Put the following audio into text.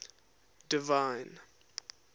divine